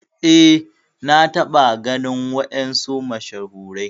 Eh na taba ganin wadansu mashahurai.